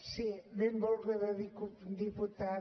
sí benvolguda diputada